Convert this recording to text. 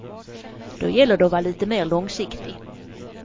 Då gäller det att vara lite mer långsiktig.